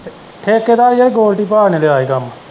ਠੇਕੇਦਾਰ ਯਾਰ ਗੋਲਡੀ ਭਾਅ ਨੇ ਲਿਆ ਈ ਕੰਮ।